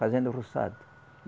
Fazendo roçado.